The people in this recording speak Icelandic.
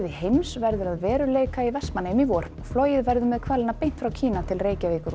heims verður að veruleika í Vestmannaeyjum í vor flogið verður með hvalina beint frá Kína til Reykjavíkur og